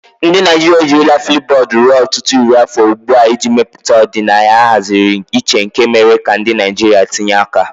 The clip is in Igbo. Ndị Naijiria ejirila Flipubodu ruo ọtụtụ iri afọ ugbu a iji mepụta ọdịnaya ahaziri iche nke mere ka ndị Naijiria tinye aka.